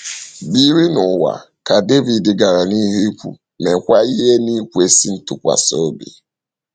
“ Biri n’ụwa, ” ka Devid gara n’ihu ikwu, “ meekwa ihe n’ikwesị ntụkwasị obi. ”